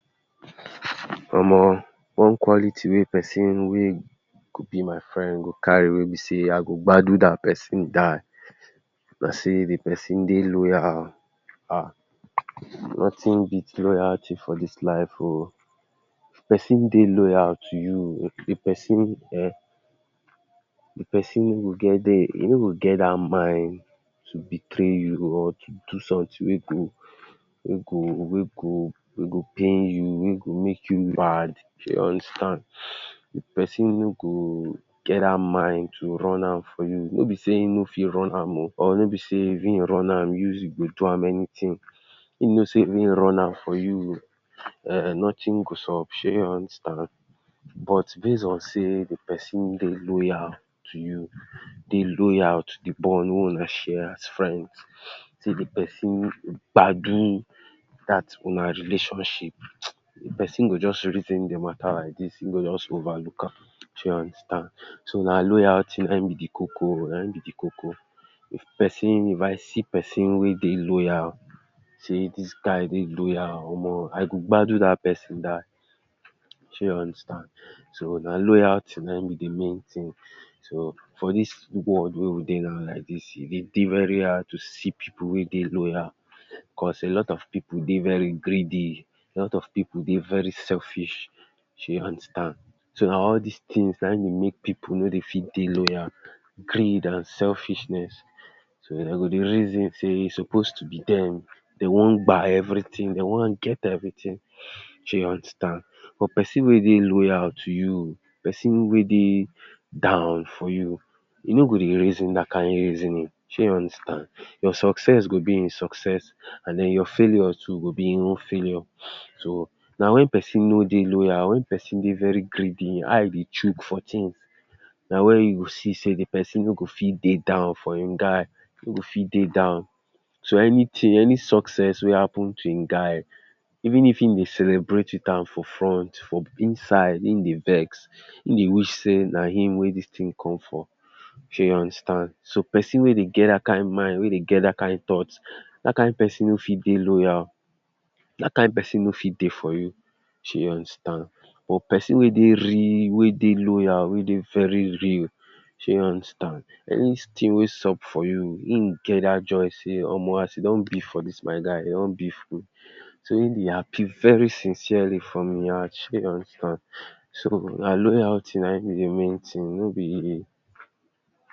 Omo one quality wey pesin wey go be my friend go carry wey be sey i go gbadun dat pesin die na sey the pesin dey loyal oh. um. Nothing beat loyalty for dis life oh. If pesin dey loyal to you, if pesin um the pesin wey you get dere, e no go get dat mind to betray you or to do something wey go wey go wey go wey go pain you, wey go make you mad Shey you understand? The pesin no go get dat mind to run am for you. No be sey e no fit run am oh or no be sey e go run am you go do am anything. him know sey if im run am for you um nothing go sup. Shey you understand? But base on sey the pesin dey loyal to you, dey loyal to the bond wey huna share as friends. Sey the pesin gbadun dat huna relationship. If pesin go just reason the matter like dis, im go just overlook am. Shey you understand? So na loyalty na im be the koko, na im be the koko. If pesin if i see pesin wey dey loyal sey dis guy dey loyal oh, omo i go gbadun dat pesin die. Shey you understand? So na loyalty na im be the main thing to for dis world wey we dey now like dis, e dey dey very hard to see pipu wey dey loyal cause a lot of people dey very greedy. A lot of pipu dey very selfish. Shey you understand? So na all des things na im dey make pipu no dey fit dey loyal greed and selfishness. So dem go dey reason sey e suppose to be dem. They wan gba everything. They wan get everything. Shey you understand But pesin wey dey loyal to you, pesin wey dey down for you, e no go dey reason dat kind reasoning. Shey you understand? Your success go be im success and den your failure go be im own failure. So na when pesin no dey loyal, when pesin dey very greedy, e eye dey chook for things na when you go see sey the person no go fit dey down for im guy. E go fit dey down. So anything any success wey happen to im guy even if him dey celebrate with am for front, for inside im dey vex. Him dey wish sey na im wey dis thing come for. Shey you understand? So pesin wey dey get dat kind mind, wey dey get dat kind thought, dat kind pesin no fit dey loyal. Dat kind pesin no fit dey for you. Shey you understand? But pesin wey dey real, wey dey loyal, wey dey very real shey you understand? Anything wey sup for you im get dat joy sey omo as e don be for dis my guy, e don be for me So im dey happy very sincerely from im heart. Shey you understand? So na loyalty na im be the main thing, no be.